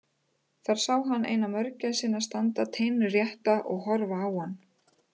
Þar sá hann eina mörgæsina standa teinrétta og horfa á hann.